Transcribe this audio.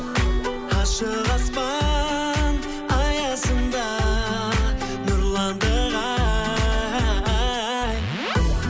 ашық аспан аясында нұрландық ай